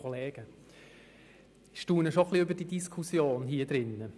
Ich staune über die Diskussion in diesem Saal.